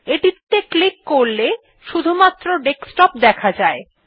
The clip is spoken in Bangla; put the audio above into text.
এটিতে ক্লিক করলে এটি শুধুমাত্র ডেস্কটপ দেখায়